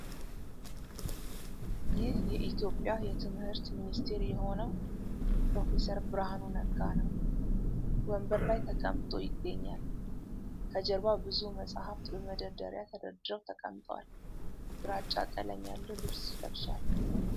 ይህ የኢትዮጵያ የትምህርት ሚኒስትር የሆነው ፕሮፌሰር ብርሃኑ ነጋ ነው ። ወንበር ላይ ተቀምጦ ይገኛል ። ከጀርባ ብዙ መጻሕፍት በመንደርደሪያ ተደርድረው ተቀምጠዋል ። ግራጫ ቀለም ያለው ልብስ ለብሷል ።